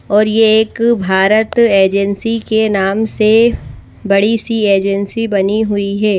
और ये एक भारत एजेंसी के नाम से बड़ी सी एजेंसी बनी हुई है।